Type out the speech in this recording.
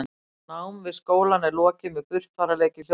námi við skólann er lokið með burtfararprófi í hljóðfæraleik